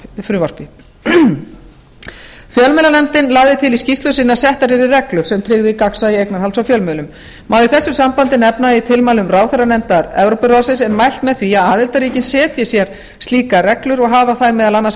frumvarpi fjölmiðlanefndin lagði til í skýrslu sinni að settar yrðu reglur sem tryggði gagnsæi eignarhalds á fjölmiðlum má í þessu sambandi nefna að í tilmælum ráðherranefndar evrópuráðsins er mælt með því að aðildarríkin setji sér slíkar reglur og hafa þær meðal annars